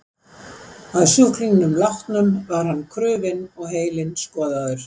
Að sjúklingnum látnum var hann krufinn og heilinn skoðaður.